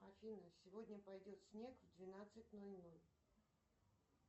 афина сегодня пойдет снег в двенадцать ноль ноль